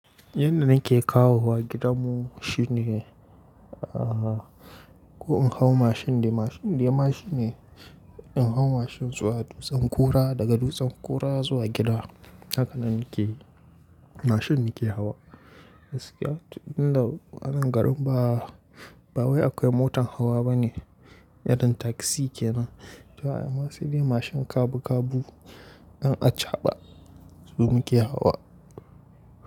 Yanda nake kawowa gidanmu shine, ah, ko in hau mashin da mashin da yama shine in hau mashin zuwa dutsen Kura, daga dutsen Kura zuwa gida. Hakanan nake, mashin nake hawa. Gaskiya tun da wannan garin ba, ba wai akwai motar hawa bane, yadda taksi kenan. To, anan sai dai mashin kabu kabu in a caɓa su muke hawa.